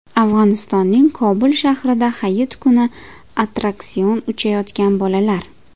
Afg‘onistonning Kobul shahrida Hayit kuni attraksion uchayotgan bolalar.